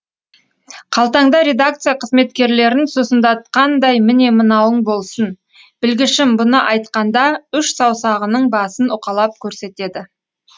қалтаңда редакция қызметкерлерін сусындатқандай міне мынауың болсын білгішім бұны айтқанда үш саусағының басын уқалап көрсетеді